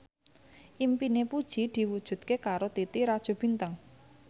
impine Puji diwujudke karo Titi Rajo Bintang